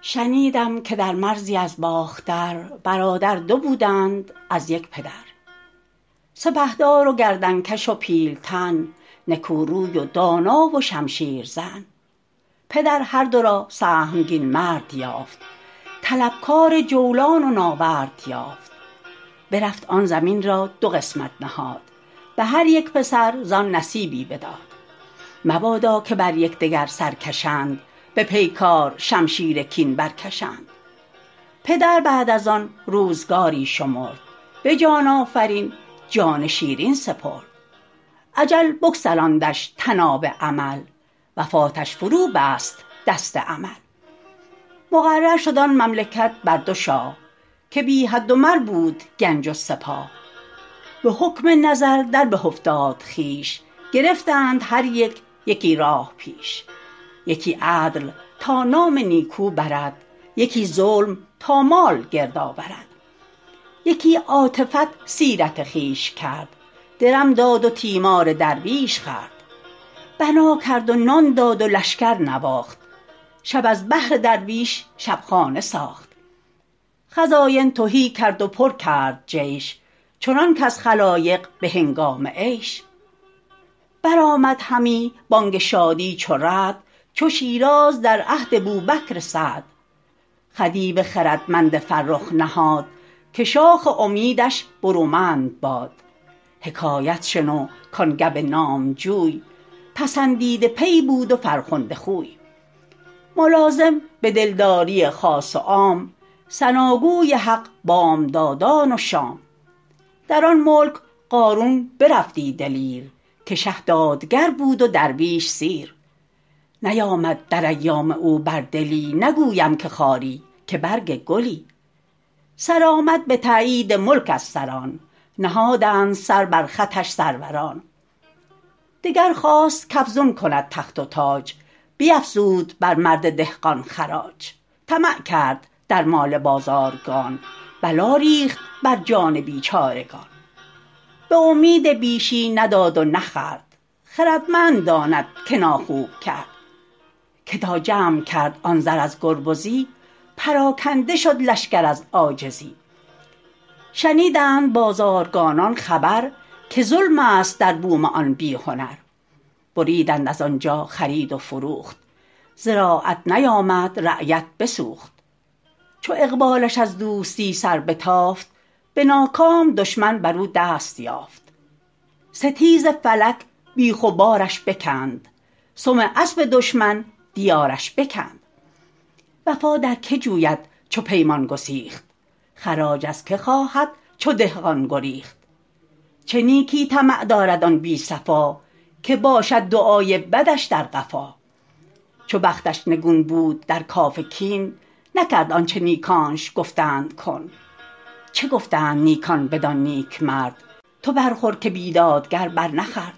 شنیدم که در مرزی از باختر برادر دو بودند از یک پدر سپهدار و گردن کش و پیلتن نکو روی و دانا و شمشیر زن پدر هر دو را سهمگین مرد یافت طلبکار جولان و ناورد یافت برفت آن زمین را دو قسمت نهاد به هر یک پسر زآن نصیبی بداد مبادا که بر یکدگر سر کشند به پیکار شمشیر کین برکشند پدر بعد از آن روزگاری شمرد به جان آفرین جان شیرین سپرد اجل بگسلاندش طناب امل وفاتش فرو بست دست عمل مقرر شد آن مملکت بر دو شاه که بی حد و مر بود گنج و سپاه به حکم نظر در به افتاد خویش گرفتند هر یک یکی راه پیش یکی عدل تا نام نیکو برد یکی ظلم تا مال گرد آورد یکی عاطفت سیرت خویش کرد درم داد و تیمار درویش خورد بنا کرد و نان داد و لشکر نواخت شب از بهر درویش شبخانه ساخت خزاین تهی کرد و پر کرد جیش چنان کز خلایق به هنگام عیش برآمد همی بانگ شادی چو رعد چو شیراز در عهد بوبکر سعد خدیو خردمند فرخ نهاد که شاخ امیدش برومند باد حکایت شنو کان گو نامجوی پسندیده پی بود و فرخنده خوی ملازم به دلداری خاص و عام ثناگوی حق بامدادان و شام در آن ملک قارون برفتی دلیر که شه دادگر بود و درویش سیر نیامد در ایام او بر دلی نگویم که خاری که برگ گلی سرآمد به تأیید ملک از سران نهادند سر بر خطش سروران دگر خواست کافزون کند تخت و تاج بیافزود بر مرد دهقان خراج طمع کرد در مال بازارگان بلا ریخت بر جان بیچارگان به امید بیشی نداد و نخورد خردمند داند که ناخوب کرد که تا جمع کرد آن زر از گربزی پراکنده شد لشکر از عاجزی شنیدند بازارگانان خبر که ظلم است در بوم آن بی هنر بریدند از آنجا خرید و فروخت زراعت نیامد رعیت بسوخت چو اقبالش از دوستی سر بتافت به ناکام دشمن بر او دست یافت ستیز فلک بیخ و بارش بکند سم اسب دشمن دیارش بکند وفا در که جوید چو پیمان گسیخت خراج از که خواهد چو دهقان گریخت چه نیکی طمع دارد آن بی صفا که باشد دعای بدش در قفا چو بختش نگون بود در کاف کن نکرد آنچه نیکانش گفتند کن چه گفتند نیکان بدان نیکمرد تو برخور که بیدادگر بر نخورد